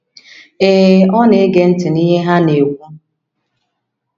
Ee, ọ na - ege ntị n’ihe ha na - ekwu.